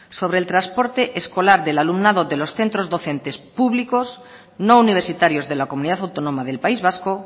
sobre el transporte escolar del alumnado de los centros docentes públicos no universitarios de la comunidad autónoma del país vasco